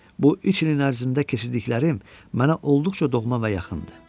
Bu üç ilin ərzində keçirdiklərim mənə olduqca doğma və yakındı.